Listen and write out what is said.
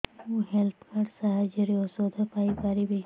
ମୁଁ health card ସାହାଯ୍ୟରେ ଔଷଧ ପାଇ ପାରିବି